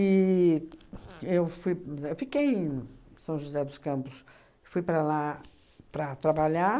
eu foi ahn fiquei em São José dos Campos, fui para lá para trabalhar.